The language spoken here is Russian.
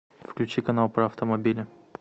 включи канал про автомобили